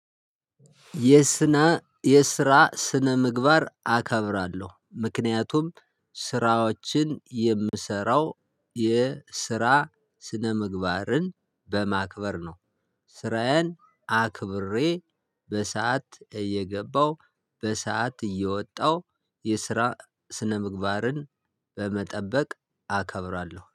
የስና የስራ ስነምግባር አከብራለሁ ምክንያቱም ስራዎችን የምሰራው የስራ ስነምግባርን በማክበር ነው። ስራዬን አክብሬ በሰአት እየገባው በሰአት እየወጣው የስራ ስነምግባርን በመጠበቅ አከብራለሁ